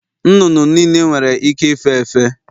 Nnụnụ niile nwere ike ife efe